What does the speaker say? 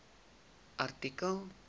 artikel